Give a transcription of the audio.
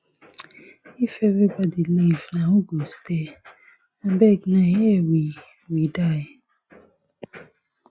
if everybody leave na who go stay abeg na here we we die